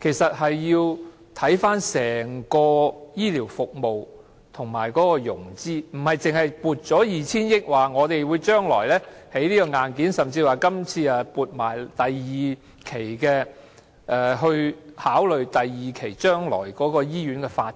其實須看看整體醫療服務及融資，而不單是撥出 2,000 億元，說將來會興建硬件，甚至說今次的撥款已考慮到將來第二期的醫院發展......